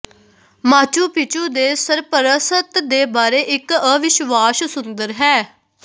Machu Picchu ਦੇ ਸਰਪ੍ਰਸਤ ਦੇ ਬਾਰੇ ਇੱਕ ਅਵਿਸ਼ਵਾਸ਼ ਸੁੰਦਰ ਹੈ